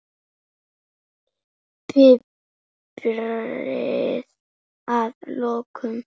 Piprið að lokum.